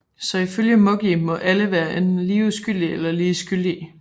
Så ifølge Moggi må alle være enten lige uskyldige eller lige skyldige